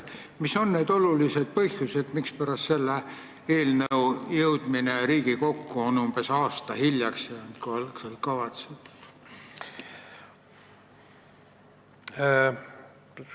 Mis on need olulised põhjused, miks eelnõu jõudis Riigikokku umbes aasta aega hiljem, kui algselt kavandatud?